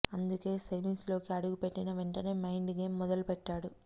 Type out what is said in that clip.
అందుకే సెమీస్ లోకి అడుగు పెట్టిన వెంటనే మైండ్ గేమ్ మొదలెట్టాడు